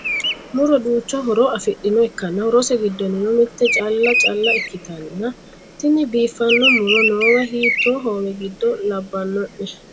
muro duucha horo afidhinoha ikkanna, horose giddonnino mitte caale caa'la ikkitanna, tini biifanno muro noow hiitte hoowe giddo labbano'ne ?